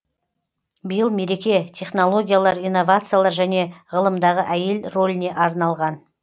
биыл мереке технологиялар инновациялар және ғылымдағы әйел роліне арналған